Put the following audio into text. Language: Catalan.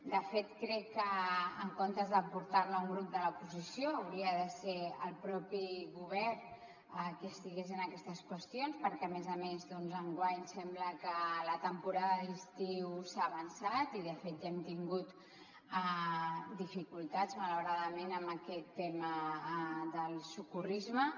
de fet crec que en comptes de portar la un grup de l’oposició hauria de ser el propi govern qui estigués en aquestes qüestions perquè a més a més doncs enguany sembla que la temporada d’estiu s’ha avançat i de fet ja hem tingut dificultats malauradament en aquest tema del socorrisme